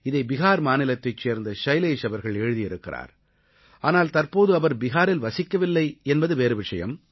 இதை பிஹார் மாநிலத்தைச் சேர்ந்த ஷைலேஷ் அவர்கள் எழுதியிருக்கிறார் ஆனால் தற்போது அவர் பிஹாரில் வசிக்கவில்லை என்பது வேறு விஷயம்